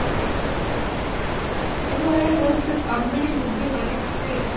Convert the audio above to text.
ଏଇ ଭଳିଆ ବହୁତ comedy movie କରିଚି ସେ